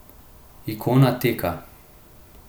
Ikona teka.